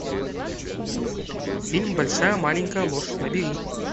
фильм большая маленькая ложь набери